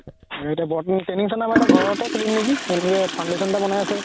এতিয়া বৰ্তমান training center আমাৰ ঘৰতে খুলিম নেকি তেনেকে foundation এটা বনাই আছে